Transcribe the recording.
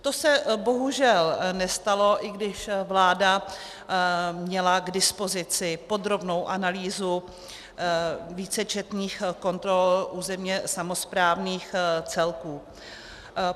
To se bohužel nestalo, i když vláda měla k dispozici podrobnou analýzu vícečetných kontrol územně samosprávných celků.